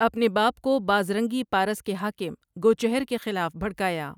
اپنے باپ کو بازرنگی پارس کے حاکم گوچہر کے خلاف بھڑکایا۔